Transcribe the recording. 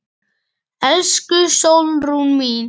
Elsku Sólrún mín.